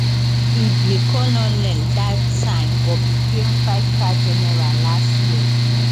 e be colonel dat time but become fivestar general last year